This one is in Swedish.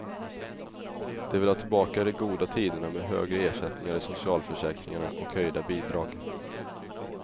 De vill ha tillbaka de goda tiderna med högre ersättningar i socialförsäkringarna och höjda bidrag.